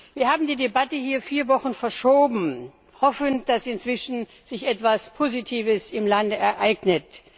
Wir haben die Debatte hier vier Wochen verschoben, hoffend, dass sich inzwischen etwas Positives im Lande ereignet.